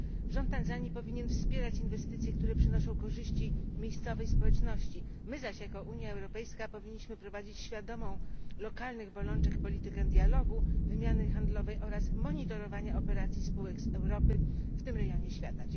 Rząd Tanzanii powinien wspierać inwestycje, które przynoszą korzyści miejscowej społeczności, my zaś jako Unia Europejska powinniśmy prowadzić świadomą lokalnych bolączek politykę dialogu, wymiany handlowej oraz monitorowania operacji spółek z Europy w tym rejonie świata.